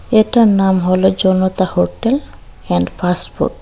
এটার নাম হল Janata hotel and fast food.